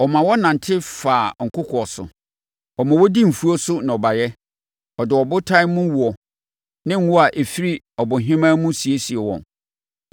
Ɔma wɔnante faa nkokoɔ so; Ɔma wɔdi mfuo so nnɔbaeɛ; ɔde abotan mu woɔ, ne ngo a ɛfiri abohemaa mu siesie wɔn.